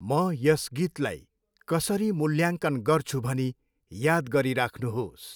म यस गीतलाई कसरी मूल्याङ्कन गर्छु भनी याद गरिराख्नुहोस्।